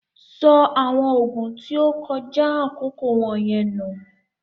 Sọ awọn oogun tí o kọja akoko wọnyẹn nù!